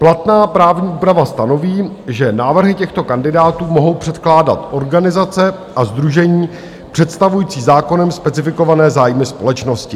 Platná právní úprava stanoví, že návrhy těchto kandidátů mohou předkládat organizace a sdružení představující zákonem specifikované zájmy společnosti.